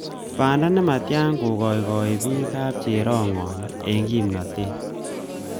Banda nematya kokoiboi bik kapcherongony eng kimnatet